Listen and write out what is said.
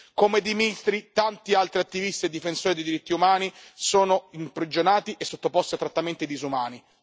Come Dzmitry, tanti altri attivisti e difensori dei diritti umani sono imprigionati e sottoposti a trattamenti disumani.